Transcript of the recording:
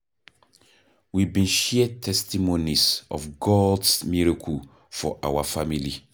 We bin share testimonies of God's miracles for our family